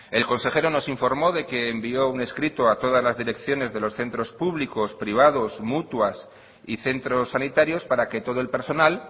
el consejero nos informó de que envió un escrito a todas las direcciones de los centros públicos privados mutuas y centros sanitarios para que todo el personal